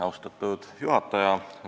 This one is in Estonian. Austatud juhataja!